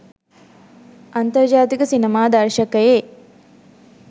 අන්තර්ජාතික සිනමා දර්ශකයේ